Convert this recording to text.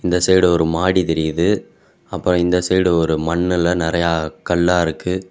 இந்த சைடு ஒரு மாடி தெரியுது அப்றோ இந்த சைடு ஒரு மண்ணுல நெறைய கல்லா இருக்கு.